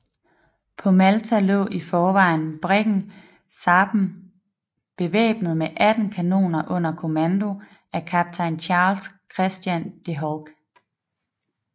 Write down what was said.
På Malta lå i forvejen briggen Sarpen bevæbnet med 18 kanoner under kommando af kaptajn Charles Christian De Holck